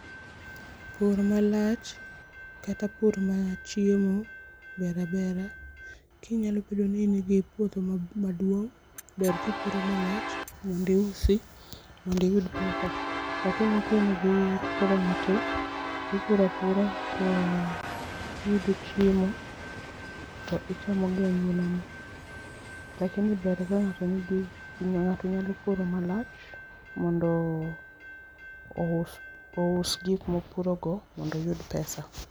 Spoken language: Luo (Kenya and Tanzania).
Pur malach kata pur mar chiemo ber abera kinyalo bedo ni in gi puodho maduong' ber ka ipuro malach mondo iusi mondo iyud pesa lakini ka in gi puodho matis to ipuro apuro to iyudo chiemo to ichamo gi anyuola ni. Lakini ber ka ng'ato nigi, ng'ato nyalo puro malach mondo ous, ous gik ma opurogo mondo oyud pesa